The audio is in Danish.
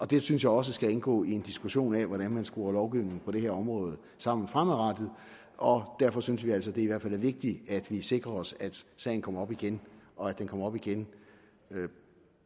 det synes jeg også skal indgå i en diskussion af hvordan man skruer lovgivningen på det her område sammen fremadrettet og derfor synes vi altså at det er vigtigt at vi sikrer os at sagen kommer op igen og at den kommer op igen